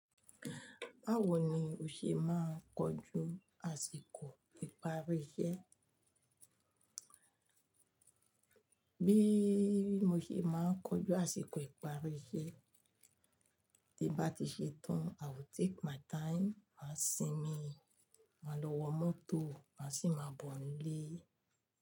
Báwo ni o ṣe máa ń kojú àsìkò ìparí iṣẹ́? Bí mo ṣe máa ń kojú àsìkò ìparí iṣẹ́, tí bá ti ṣe tán, I will take my time, màá sinmi, màá lọ wọ mọ́tò, màá sì máa bọ̀ nílé.